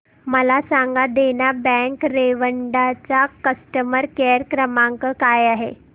मला सांगा देना बँक रेवदंडा चा कस्टमर केअर क्रमांक काय आहे